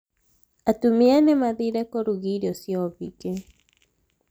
Atumia nĩmathire kũruga irio cia ũhiki